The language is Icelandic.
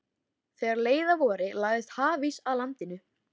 Þegar leið að vori lagðist hafís að landinu.